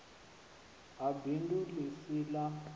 ha bindu ḽi si ḽa